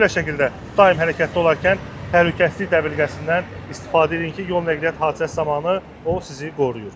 Mütləq şəkildə daim hərəkətdə olarkən təhlükəsizlik dəbilqəsindən istifadə edin ki, yol nəqliyyat hadisəsi zamanı o sizi qoruyur.